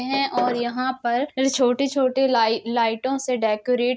है और यहाँ पर छोटे-छोटे लाई लाइटों से डेकोरेट --